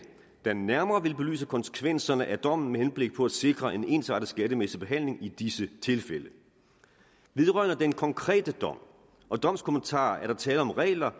der nærmere vil belyse konsekvenserne af dommen med henblik på at sikre en ensartet skattemæssig behandling i disse tilfælde vedrørende den konkrete dom og domskommentaren er der tale om regler